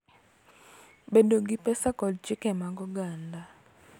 Bedo gi pesa, kod chike mag oganda.